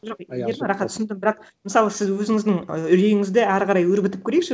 жоқ аха түсіндім бірақ мысалы сіз өзініздің ы үрейіңізді әрі қарай өрбітіп көрейікші